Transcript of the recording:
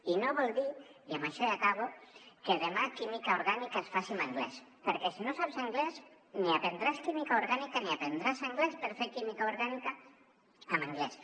i no vol dir i amb això ja acabo que demà química orgànica es faci en anglès perquè si no saps anglès ni aprendràs química orgànica ni aprendràs anglès per fer química orgànica en anglès